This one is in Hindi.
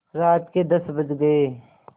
रात के दस बज गये